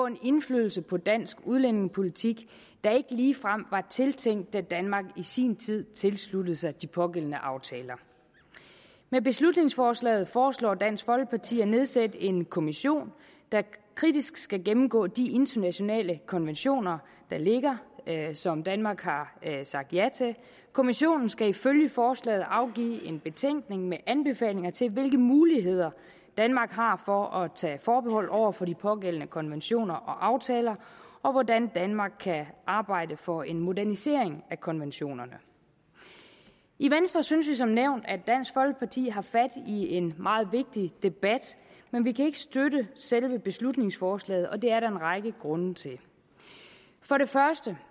en indflydelse på dansk udlændingepolitik der ikke ligefrem var tiltænkt da danmark i sin tid tilsluttede sig de pågældende aftaler med beslutningsforslaget foreslår dansk folkeparti at nedsætte en kommission der kritisk skal gennemgå de internationale konventioner der ligger som danmark har sagt ja til kommissionen skal ifølge forslaget afgive en betænkning med anbefalinger til hvilke muligheder danmark har for at tage forbehold over for de pågældende konventioner og aftaler og hvordan danmark kan arbejde for en modernisering af konventionerne i venstre synes vi som nævnt at dansk folkeparti har fat i en meget vigtig debat men vi kan ikke støtte selve beslutningsforslaget og det er der en række grunde til for det første